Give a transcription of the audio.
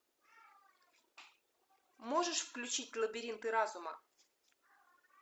можешь включить лабиринты разума